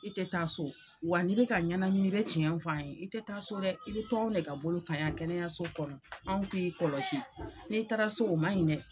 I tɛ taa so wa n'i bɛka ɲɛnamini i bɛ tiɲɛn f'an ye i tɛ taa so dɛ i bɛ to anw ne ka bolo kan yan kɛnɛyaso kɔnɔ anw k'i kɔlɔsi n'i taara so o ma ɲi dɛ.